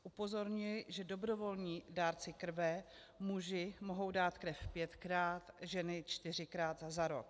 Upozorňuji, že dobrovolní dárci krve - muži mohou dát krev pětkrát, ženy čtyřikrát za rok.